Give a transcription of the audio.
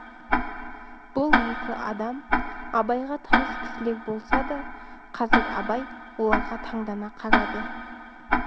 бұл екі адам абайға таныс кісілер болса да қазір абай оларға таңдана қарады